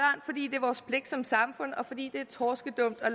er vores pligt som samfund og fordi det er torskedumt at